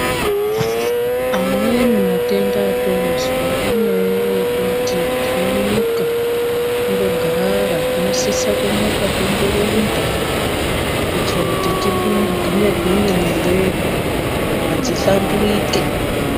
Amweni matenda atozwa inyaya yekuti tinomuka tongogara tinosisa kumuka tomborumba kuitira kuti tigwinye gwinye miri wedu nyama dzihlamburuke.